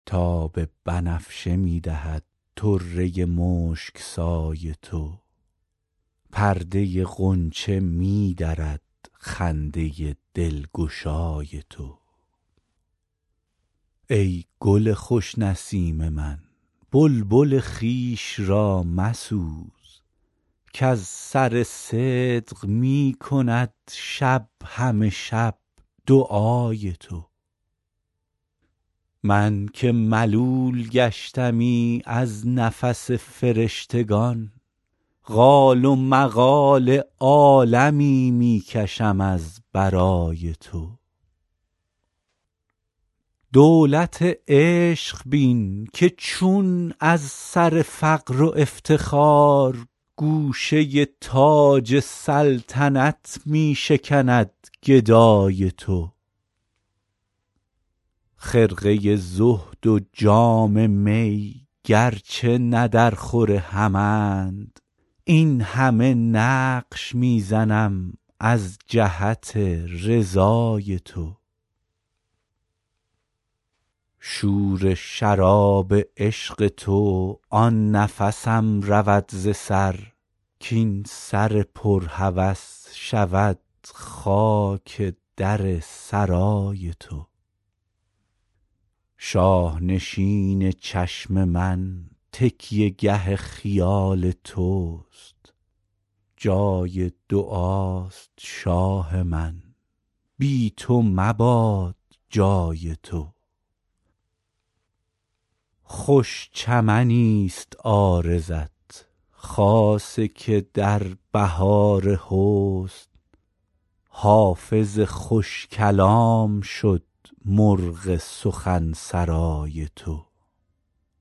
تاب بنفشه می دهد طره مشک سای تو پرده غنچه می درد خنده دلگشای تو ای گل خوش نسیم من بلبل خویش را مسوز کز سر صدق می کند شب همه شب دعای تو من که ملول گشتمی از نفس فرشتگان قال و مقال عالمی می کشم از برای تو دولت عشق بین که چون از سر فقر و افتخار گوشه تاج سلطنت می شکند گدای تو خرقه زهد و جام می گرچه نه درخور همند این همه نقش می زنم از جهت رضای تو شور شراب عشق تو آن نفسم رود ز سر کاین سر پر هوس شود خاک در سرای تو شاه نشین چشم من تکیه گه خیال توست جای دعاست شاه من بی تو مباد جای تو خوش چمنیست عارضت خاصه که در بهار حسن حافظ خوش کلام شد مرغ سخن سرای تو